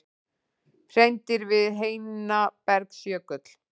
Hreindýr við Heinabergsjökul.